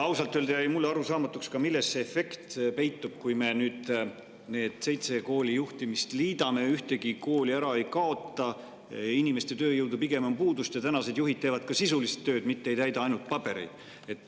Ausalt öelda jäi mulle arusaamatuks ka see, milles see efekt peitub, kui me nüüd need seitse kooli ühe juhtimise alla liidame: ühtegi kooli ära ei kaota, inimeste tööjõudu on pigem puudu, ja tänased juhid teevad ju ka sisulist tööd, mitte ei täida ainult pabereid.